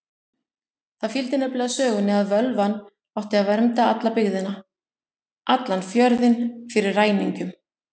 Það fylgdi nefnilega sögunni að völvan átti að vernda alla byggðina, allan fjörðinn, fyrir ræningjum.